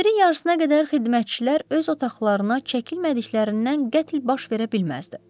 11-in yarısına qədər xidmətçilər öz otaqlarına çəkilmədiklərindən qətl baş verə bilməzdi.